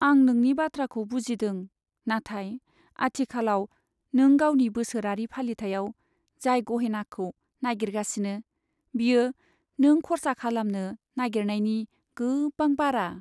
आं नोंनि बाथ्राखौ बुजिदों, नाथाय आथिखालाव नों गावनि बोसोरारि फालिथाइआव जाय गहेनाखौ नागिरगासिनो, बेयो नों खर्सा खालामनो नागिरनायनि गोबां बारा।